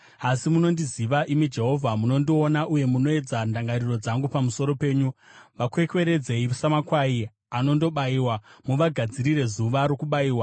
Asi munondiziva, imi Jehovha; munondiona uye munoedza ndangariro dzangu pamusoro penyu. Vakwekweredzei samakwai anondobayiwa! Muvagadzirire zuva rokubayiwa.